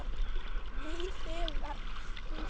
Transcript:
Nú þegar hún sér.